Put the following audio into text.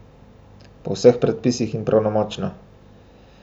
Po vseh predpisih in pravnomočno.